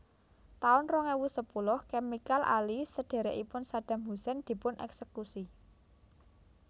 taun rong ewu sepuluh Chemical Ali sedhèrèkipun Saddam Hussein dipun èksèkusi